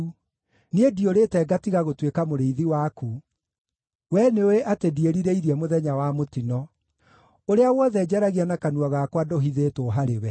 Niĩ ndiũrĩte ngatiga gũtuĩka mũrĩithi waku; wee nĩũũĩ atĩ ndiĩrirĩirie mũthenya wa mũtino. Ũrĩa wothe njaragia na kanua gakwa ndũhithĩtwo harĩwe.